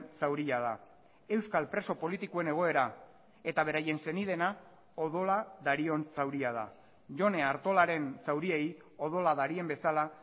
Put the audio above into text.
zauria da euskal preso politikoen egoera eta beraien senideena odola darion zauria da jone artolaren zauriei odola darien bezala